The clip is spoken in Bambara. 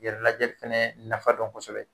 Yɛrɛ lajɛ fana nafa dɔn kosɛbɛ